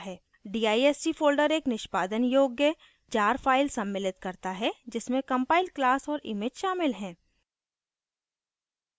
dist folder एक निष्पादन योग्य jar file सम्मिलित करता है जिसमें कंपाइल class औऱ image शामिल है